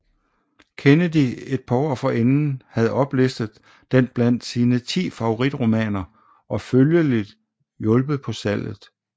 Kennedy et par år forinden havde oplistet den blandt sine ti favoritromaner og følgelig hjulpet på salget